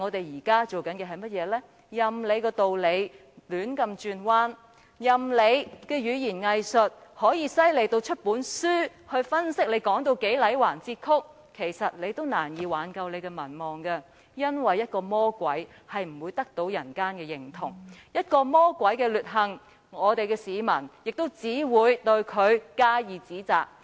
任憑他如何把道理說得天花亂墜，任憑其語言"偽術"如何厲害至可以著書立說，但也難以挽救其民望。原因是，魔鬼永不會得到人間的認同，對於魔鬼的劣行，市民只會加以指責。